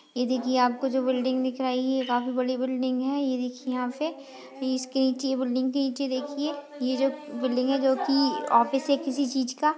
ये देखिये आपको जो बिल्डिंग दिख रहा हे ये काफी बडी बिल्डिंग हे ये देखिये यहाँ पे इसके निचे ये बिल्डिंग के निचे देखिये ये जो बिल्डिंग हे जो की ऑफिस है किसी चीज़ का।